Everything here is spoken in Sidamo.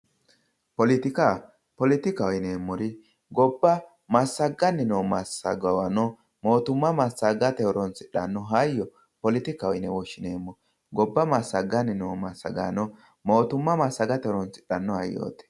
Poletika, poletikaho yineemmori gobba massagani noo massagaano mootuma massagate horonsidhano hayyo poletikkaho yine woshshineemmo gobba massagani noo massagaanorano mootuma massagate horonsidhano hayyoti.